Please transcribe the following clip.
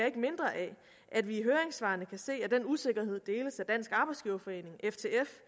ikke mindre af at vi i høringssvarene kan se at den usikkerhed deles af dansk arbejdsgiverforening ftf